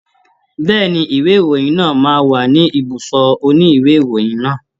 Bẹ́ẹ̀ni, ìwé ìròyìn náà máa wà ní ibùsọ̀ òní ìwé ìròyìn náà.